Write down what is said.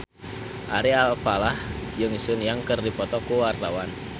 Ari Alfalah jeung Sun Yang keur dipoto ku wartawan